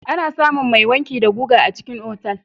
Ana samun mai wanki da guga a cikin otal.